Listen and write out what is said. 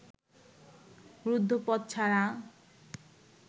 রুদ্ধ পথ ছাড়া